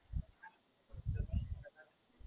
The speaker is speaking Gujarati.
વોલીબોલ, એના ક્લાસ કે એવું કઈ હોય કે એમ જ?